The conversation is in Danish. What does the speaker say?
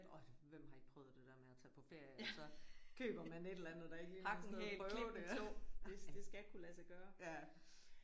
Og hvem har ikke prøvet det der med at tage på ferie og så køber man et eller andet der ikke lige noget sted at prøve det og det det skal kunne lade sig gøre